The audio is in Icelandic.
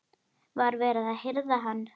Var verið að hirða hann?